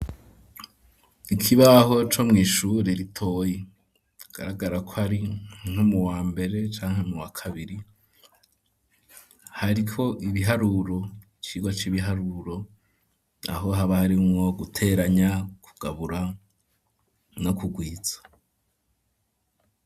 Ikibaho co mw' ishure ritoyi ,bigaragara ko ari nko mu wa mbere, canke mu wa kabiri, hariko ibiharuro Icigwa c'ibiharuro, aho haba harimwo guteranya, kugabura, no kugwiza.